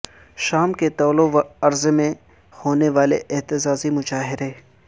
شام کے طول و ارض میں ہونے والے احتجاجی مظاہرے